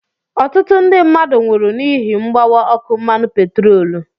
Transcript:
Ọtụtụ ndị mmadụ nwụrụ n'ihi mgbawa ọkụ mmanụ petroolu.